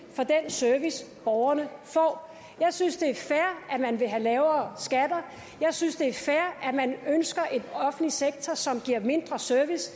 service borgerne får jeg synes det er fair at man vil have lavere skatter jeg synes det er fair at man ønsker en offentlig sektor som giver mindre service